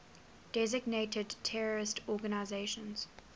designated terrorist organizations